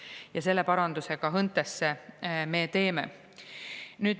Ja selle paranduse ka HÕNTE-sse me teeme nüüd.